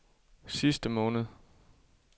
sidste måned